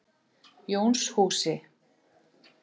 Jónshúsi